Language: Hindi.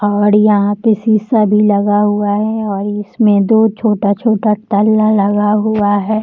और यहाँ पे शीशा भी लगा हुआ है और इसमें दो छोटा-छोटा तल्ला लगा हुआ है।